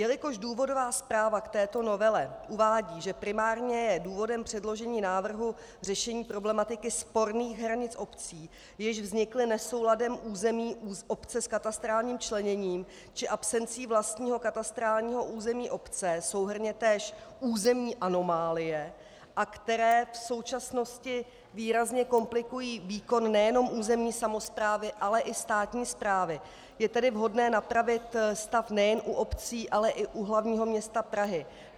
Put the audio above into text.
Jelikož důvodová zpráva k této novele uvádí, že primárně je důvodem předložení návrhu řešení problematiky sporných hranic obcí, jež vznikly nesouladem území obce s katastrálním členěním či absencí vlastního katastrálního území obce, souhrnně též územní anomálie, a které v současnosti výrazně komplikují výkon nejenom územní samosprávy, ale i státní správy, je tedy vhodné napravit stav nejen u obcí, ale i u hlavního města Prahy.